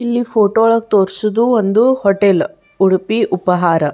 ಇಲ್ಲಿ ಫೋಟೋ ಒಳಗ್ ತೋರ್ಸಿದ್ದು ಒಂದು ಹೋಟೆಲ್ ಉಡುಪಿ ಉಪಹಾರ.